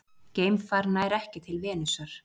Geimfar nær ekki til Venusar